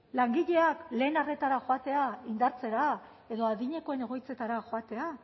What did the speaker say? langileak lehen arretara joatea indartzera edo adinekoen egoitzetara joatea